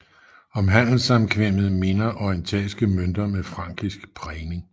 Om handelssamkvemmet minder orientalske mønter med frankisk prægning